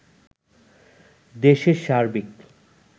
দেশের সার্বিক